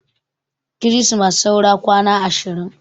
Kirismas saura kwana ashirin